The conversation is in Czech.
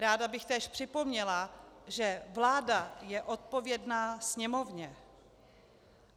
Ráda bych též připomněla, že vláda je odpovědná Sněmovně.